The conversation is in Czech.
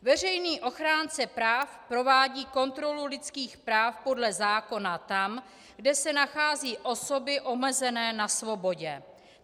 Veřejný ochránce práv provádí kontrolu lidských práv podle zákona tam, kde se nachází osoby omezené na svobodě.